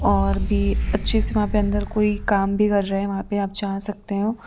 और भी अच्छी सी वहां पे अंदर कोई काम भी कर रहे हैं वहां पे आप जा सकते हो।